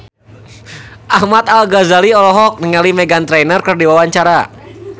Ahmad Al-Ghazali olohok ningali Meghan Trainor keur diwawancara